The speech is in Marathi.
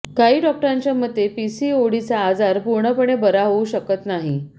काही डॉक्टरांच्या मते पीसीओडीचा आजार पूर्णपणे बरा होऊ शकत नाही